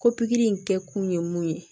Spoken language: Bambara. Ko pikiri in kɛ kun ye mun ye